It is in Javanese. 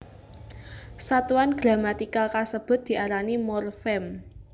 Satuan gramatikal kasebut diarani morfem